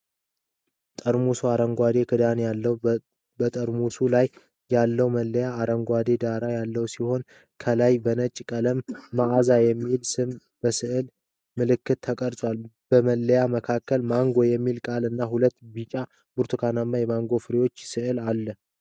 ጠርሙሱ አረንጓዴ ክዳን አለው። በጠርሙሱ ላይ ያለው መለያ አረንጓዴ ዳራ ያለው ሲሆን፣ ከላይ በነጭ ቀለም "maaza" የሚል ስም በስዕል መልክ ተቀርጿል። በመለያው መሃል "MANGO" የሚል ቃል እና ሁለት ቢጫ-ብርቱካናማ የማንጎ ፍራፍሬዎች ሥዕል አለ።